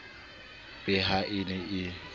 be ha e ne e